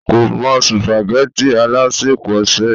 kò mọ sùpàgẹ́tì alásèpọ̀ sè